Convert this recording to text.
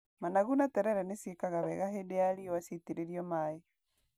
Managu na terere nĩ ciĩkaga wega hĩndĩ ya riũa ciaĩtĩrĩrio maĩ.